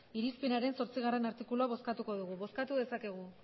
irizpenaren zortzigarrena artikulua bozkatuko degu bozkatu dezakegu